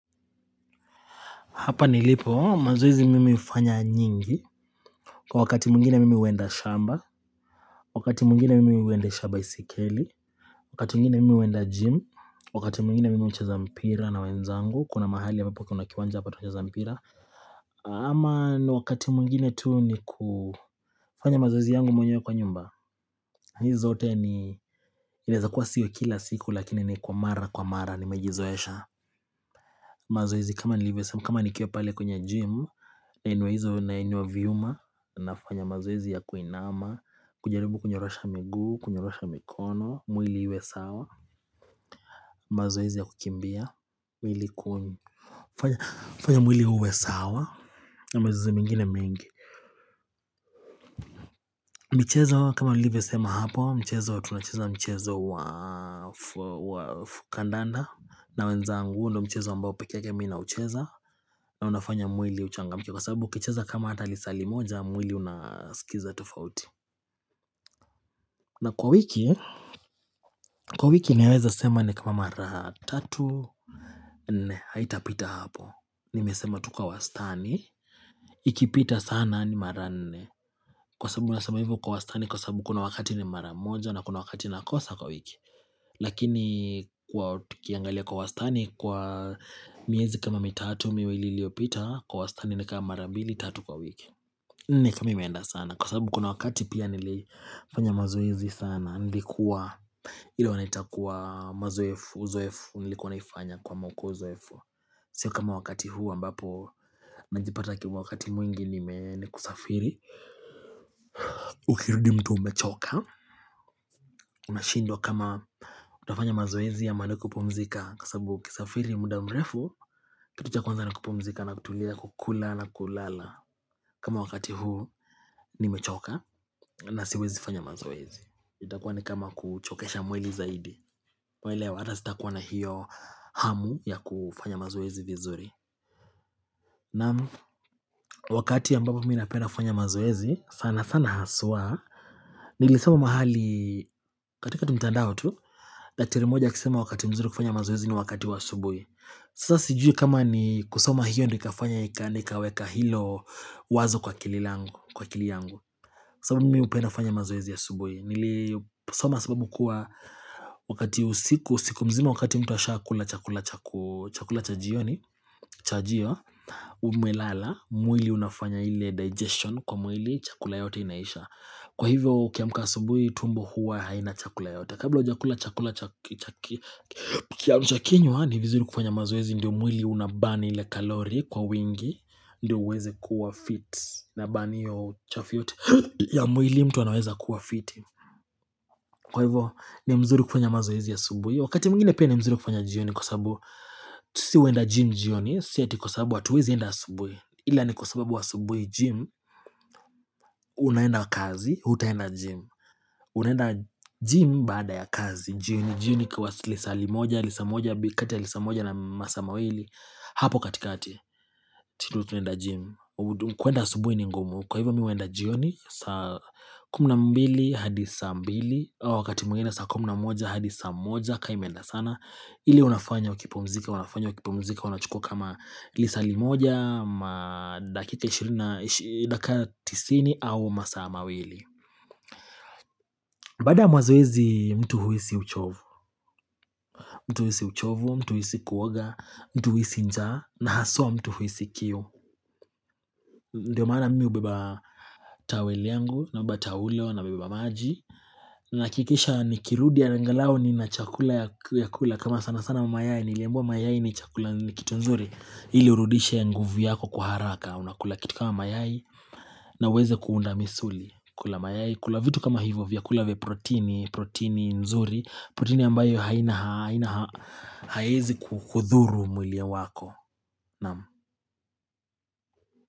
Hapa nilipo, mazoezi mimi ufanya nyingi. Kwa wakati mwingine mimi uenda shamba, wakati mwingine mimi huendesha baisikeli, wakati mwingine mimi uenda gym, wakati mwingine mimi hucheza mpira na wenzangu. Kuna mahali ambapo kunakiwanja hapa tunacheza mpira. Ama ni wakati mwingine tuu ni kufanya mazoezi yangu mwenyewe kwa nyumba. Nizote ni, inaweza kuwa sio kila siku lakini ni kwa mara kwa mara ni mejizoesha. Mazoezi kama nilivyosema, kama nikiwa pale kwenye gym, nainua hizo, nainua viuma, nafanya mazoezi ya kuinama, kujaribu kunyorosha miguu, kunyorosha mikono, mwili iwe sawa, mazoezi ya kukimbia, mwili kuni fanya fanya mwili uwe sawa, na mazoezi mengine mengi michezo kama nilivyosema hapo, mchezo wa tunacheza mchezo wa kandanda na wenzangu huu ndo mchezo ambao peke yake mi naucheza na unafanya mwili uchangamke kwa sababu ukicheza kama hata lisaa limoja mwili unaskiza tofauti na kwa wiki kwa wiki naweza sema ni kama mara tatu nne haitapita hapo nimesema tu kwa wastani ikipita sana ni mara nne kwa sababu nasema hivo kwa wastani kwa sababu kuna wakati ni maramoja na kuna wakati nakosa kwa wiki lakini kwa tukiangalia kwa wastani kwa miezi kama mitatu miwili iliopita kwa wastani na kama mara mbili tatu kwa wiki nikama imeenda sana kwa sababu kuna wakati pia nilifanya mazoezi sana nilikuwa ilo wanaita kuwa mazoefu uzoefu nilikuwa naifanya kwa mokozoefu sio kama wakati huu ambapo najipata kwa wakati mwingi nime nikusafiri ukirudi mtu umechoka unashindwa kama utafanya mazoezi ama nikupumzika kwa sababu ukisafiri muda mrefu Kitu cha kwanza nikupumzika na kutulia kukula na kulala kama wakati huu ni mechoka na siwezi fanya mazoezi itakuwa ni kama kuchokesha mwili zaidi waelewa hata sitakuwa na hiyo hamu ya kufanya mazoezi vizuri Naam, wakati ambapo minapenda kufanya mazoezi sana sana haswa Nilisoma mahali katika tu mtandao tu Daktari mmoja akisema wakati mzuri kufanya mazoezi ni wakati wa asubui Sasa sijui kama ni kusoma hiyo ndo ikafanya ika nikaweka hilo wazo kwa akililangu, kwa akili yangu. Sababu mimi upenda kufanya mazoezi a subuhi. Soma sababu kuwa wakati usiku, usiku mzima wakati mtu ashakula, chakula, chakula, cha jioni, chajio, umelala, mwili unafanya ile digestion kwa mwili, chakula yote inaisha. Kwa hivyo ukiamka asubuhi tumbo huwa haina chakula yoyote. Kabla hujakula, chakula, cha kiamsha kinywa ni vizuri kufanya mazoezi Ndiyo mwili unabani ile kalori kwa wingi Ndiyo uweze kuwa fit Naburn hiyo uchafu yote ya mwili mtu anaweza kuwa fit Kwa hivo, ni mzuri kufanya mazoezi asubuhi Wakati mwingine pia ni mzuri kufanya jioni Kwa sababu, tu si huenda gym jioni Siati kwa sababu hatuwezi enda asubui Ila ni kwa sababu asubui gym Unaenda kazi, hutaenda gym Unaenda gym baada ya kazi jioni jioni ikiwa lisaa limoja, lisa moja, kati ya lisaa moja na masaa mawili Hapo katikati, tu tunaenda gym kwenda asubuhi ni ngumu Kwa hivyo mi huenda jioni saa, kumi na mbili, hadi saa mbili Wakati mwingine saa kumina moja, hadi saa moja, kaa i meenda sana ile unafanya, ukipumzika, unafanya, ukipumzika Unachukua kama lisaa limoja ama dakika ishirini, dakika tisini au masaa mawili Baadaya mazoezi, mtu huhisi uchovu mtu uhisi uchovu, mtu uhisi kuoga, mtu uhisi njaa na haswa mtu uhisi kiu Ndiyo maana mimi hubeba towel yangu na beba taulo na beba maji Nahakikisha nikirudi angalau ni na chakula ya kula kama sana sana mayai niliambiwa mayai ni chakula ni kitu nzuri ili urudishe ya nguvu yako kwa haraka Unakula kitu kama mayai na uweze kuunda misuli kula mayai kula vitu kama hivyo vyakula vya protini protini nzuri protini ambayo haina, haiezi kukudhuru mwili wako Naam.